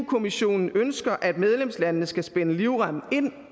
kommissionen ønsker at medlemslandene skal spænde livremmen ind